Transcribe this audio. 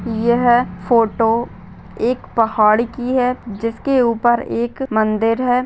यह फोटो एक पहाड़ की है जिसके ऊपर एक मंदिर है ।